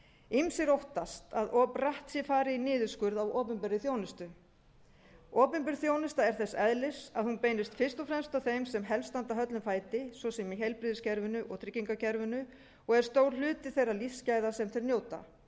ýmsir óttast að of bratt sé farið í niðurskurð á opinberri þjónustu opinber þjónusta er þess eðlis að hún beinist fyrst og fremst að þeim sem helst standa höllum fæti svo sem í heilbrigðiskerfinu og tryggingakerfinu og er stór hluti þeirra lífsgæða sem þeir njóta